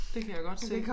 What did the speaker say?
Det kan jeg godt se